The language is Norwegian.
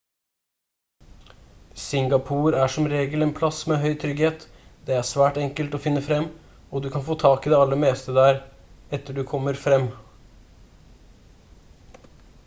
singapore er som regel en plass med høy trygghet det er svært enkelt sted å finne frem og du kan få tak i det meste der etter du kommer frem